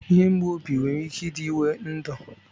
Ihe mgbụ obi nwere ike ịdị ịwé ndụ